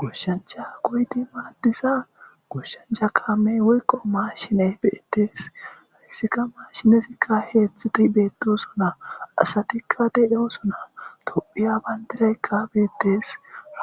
Goshancha goydi maaddiza gooshancha kaamey woyqo maashine beettesharissika maashinezikka heetztziti beettosona asatikka deo suna tophiya bayndiraykka beettes